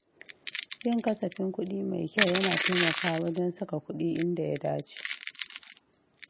Yin kasafin kuɗi mai kyau yana taimakawa wajen saka kuɗi inda ya dace.